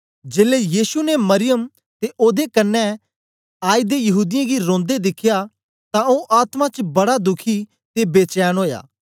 जेलै यीशु ने मरियम ते ओदे कन्ने आयदे यहूदीयें गी रोंदे दिखया तां ओ आत्मा च बडा दुखी ते बेचैन ओया